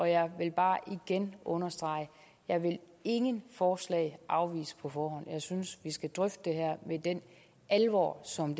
jeg vil bare igen understrege at jeg ingen forslag afvise på forhånd jeg synes vi skal drøfte det her med den alvor som